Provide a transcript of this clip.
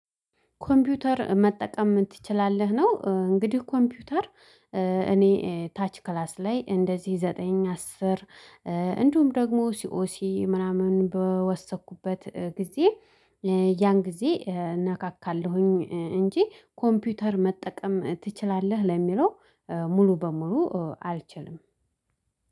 ኮምፒውተር መጠቀም ትችላለህ? ነው እንግዲህ ኮምፒውተር እኔ ታች ክላስ ላይ እንደዚህ ዘጠኝ አስር እንዲሁም ደግሞ ሲኦሲ ምናምን በወሰኩበት ጊዜ። ያን ጊዜ እነካካለሁኝ እንጂ ኮምፒውተር መጠቀም ትችላለህ ለሚለው ሙሉ በሙሉ አልችልም።